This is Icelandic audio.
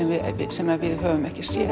sem við höfum ekki séð